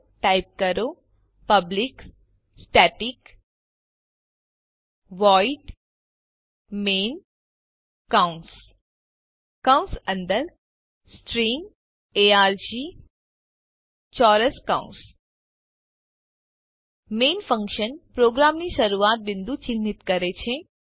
તો ટાઇપ કરો public static void main કૌંસ કૌંસ અંદર સ્ટ્રીંગ આર્ગ ચોરસ કૌંસ મેઇન ફન્કશન પ્રોગ્રામનું શરૂઆત બિંદુ ચિહ્નિત કરે છે